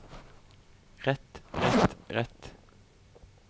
rett rett rett